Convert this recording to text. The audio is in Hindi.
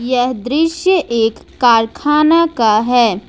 यह दृश्य एक कारखाना का है।